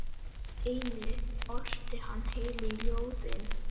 Einnig orti hann heilu ljóðin.